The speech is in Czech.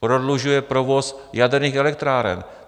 Prodlužuje provoz jaderných elektráren.